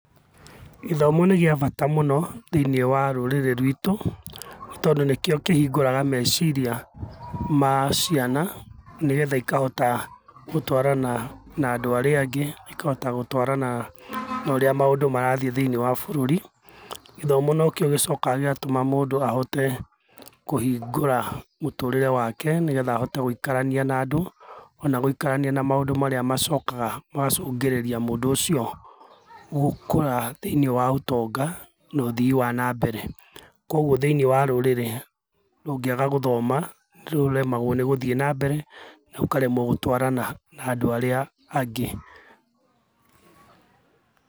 Gĩthomo nĩ gĩa bata mũno thĩiniĩ wa rũrĩrĩ rwitũ, tondũ nĩkĩo kĩhingũraga meciria ma ciana nĩgetha ikahota gũtwarana na andũ arĩa angĩ na ikahota gũtwarana na ũrĩa maũndũ marathiĩ thĩinĩ wa bũrũri, gĩthomo nokĩo gĩchpkaga gĩgatũma mũndũ ahote kũhingũra mũtũrĩre wake nĩgetha ahote gũikarania na ona gũikarania na maũndũ marĩa macokaga magacũngĩrĩria mũndũ ũcio gũkũra thĩinĩ wa ũtonga na ũthii wa na mbere, kwoguo thĩinĩ wa rũrĩrĩ rũngĩaga gũthoma nĩ rũremagwo nĩ gũthiĩ na mbere na rũkaremwo nĩ gũtwarana na andũ arĩa angĩ